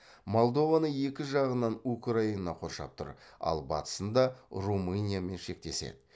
молдованы екі жағынан украина қоршап тұр ал батысында румыниямен шектеседі